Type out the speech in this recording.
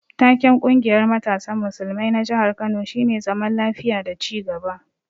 Taken ƙungiyar matasan musulmai na jihar Kano shine zaman lafiya da ci gaba.